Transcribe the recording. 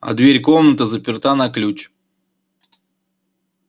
а дверь комнаты заперта на ключ